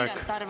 Aitäh!